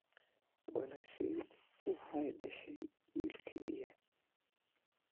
Walaashay waxay dhashay wiil keliya